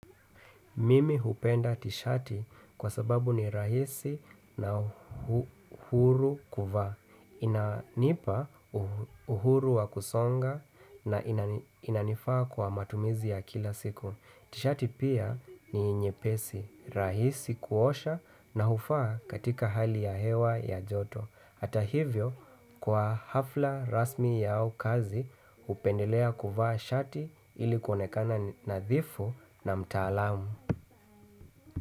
Mimi hupenda tishati kwa sababu ni rahisi na huru kuvaa. Inanipa uhuru wa kusonga na inanifaa kwa matumizi ya kila siku. Tishati pia ni nyepesi, rahisi kuosha na hufaa katika hali ya hewa ya joto. Hata hivyo, kwa hafla rasmi yao kazi, hupendelea kuvaa shati ilikuonekana nadhifu na mtaalamu.